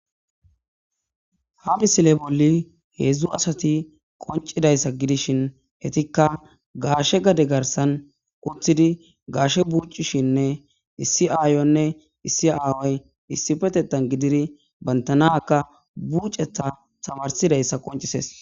ha misile bolli heedzdzu asati qoncidayssa gidishin hetikka gaashe gade garsan uththidi gaashe buucishinne issi aayonne issi aaway issi petetan gidiri bantanaka buucetha tamarsidayssa qoncises